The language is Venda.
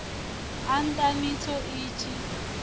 a nna mitsho i si